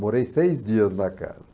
Morei seis dias na casa.